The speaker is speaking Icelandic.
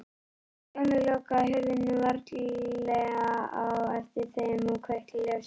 Stjáni lokaði hurðinni varlega á eftir þeim og kveikti ljósið.